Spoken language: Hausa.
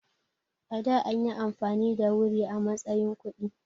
A da anyi amfani da wuri a matsayin kuɗi.